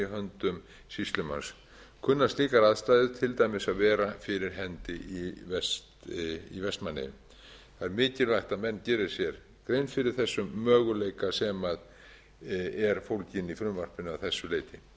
höndum sýslumanns kunna slíkar aðstæður til dæmis að vera fyrir hendi í vestmannaeyjum það er mikilvægt að menn geri sér grein fyrir þessu möguleika sem er fólginn í frumvarpinu að þessu leyti